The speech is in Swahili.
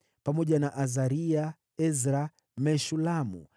pamoja na Azaria, Ezra, Meshulamu,